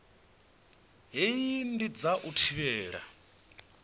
hei ndi dza u thivhela